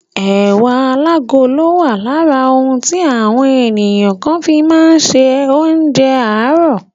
Ẹ̀wà alágolo wà lára ohun tí àwọn ènìyàn kàn fi má ń ṣe oúnjẹ àárò.